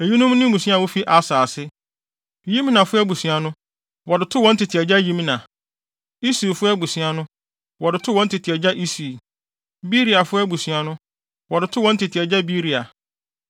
Eyinom ne mmusua a wofi Aser ase: Yimnafo abusua no, wɔde too wɔn tete agya Yimna; Isuifo abusua no, wɔde too wɔn tete agya Isui; Beriafo abusua no, wɔde too wɔn tete agya Beria.